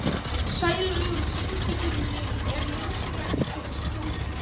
Sælaugur, syngdu fyrir mig „Er nauðsynlegt að skjóta“.